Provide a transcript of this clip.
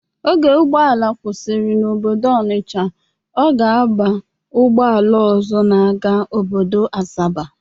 Oge ụgbọala kwụsịrị n'obodo Ọnisha, ọ ga-aba ụgbọala ọzọ na-aga obodo Asaba.